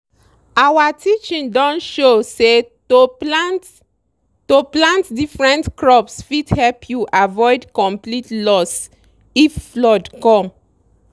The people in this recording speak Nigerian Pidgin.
our teaching don show say to plant to plant different crops fit help you avoid complete loss if flood come.